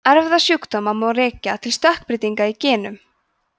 erfðasjúkdóma má rekja til stökkbreytinga í genum